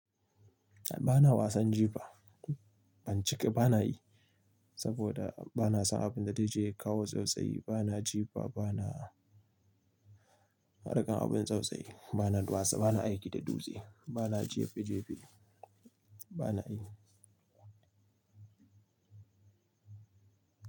A'a bana wasan jifa. Ban cike bana yi saboda bana son abin da zai jawo tsautsayi. Bana jifa bana harkar abin tsautsayi, bana duwatsu bana aiki da dutse bana jefi jefi bana yi.